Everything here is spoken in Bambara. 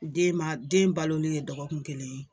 Den ma den balolen ye dɔgɔkun kelen ye